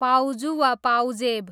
पाउजु वा पाउजेब